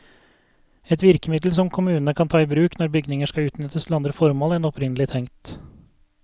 Et virkemiddel som kommunene kan ta i bruk når bygninger skal utnyttes til andre formål enn opprinnelig tenkt.